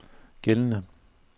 gældende